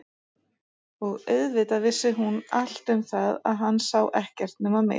Og auðvitað vissi hún allt um það að hann sá ekkert nema mig.